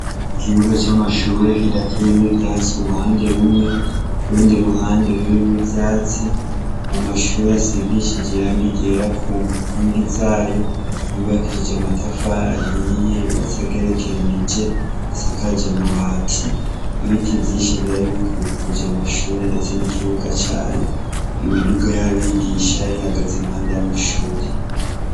Ikibuga camashure kidateyemwo ivyatsi uruhande rumwe urundi ruhande rurimwo ivyatsi amashure asigishijwe irangi ryera kunkigi zayo yubakishije amatafari ahiye yubatse agerekeranije asakaje amabati ibiti vyinshi vyarimwo vyaribikikujwe namashure ndetse nikibuga cayo imiduga yabigisha yarihagaze iruhande yamashure